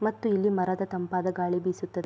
ಮತ್ತು ಇಲ್ಲಿ ಮರದ ತಂಪಾದ ಗಾಳಿ ಬಿಸುತ್ತದೆ.